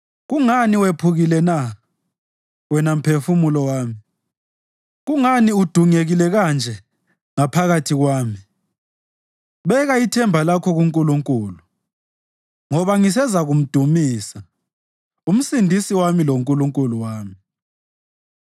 Kungani wephukile na, wena mphefumulo wami? Kungani udungekile kanje ngaphakathi kwami? Beka ithemba lakho kuNkulunkulu, ngoba ngisezakumdumisa, uMsindisi wami loNkulunkulu wami.